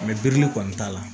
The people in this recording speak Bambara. birili kɔni t'a la